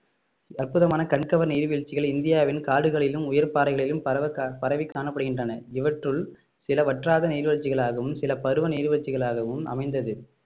அற்புதமான கண்கவர் நீர்வீழ்ச்சிகளை இந்தியாவின் காடுகளிலும் உயர் பாறைகளிலும் பரவ கா~ பரவி காணப்படுகின்றன இவற்றுள் சில வற்றாத நீர்வீழ்ச்சிகளாகவும் சில பருவ நீர்வீழ்ச்சிகளாகவும் அமைந்தது